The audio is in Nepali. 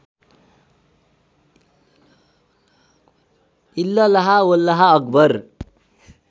इल्लल्लाह वल्लाह अक्बर